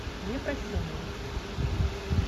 непрощенный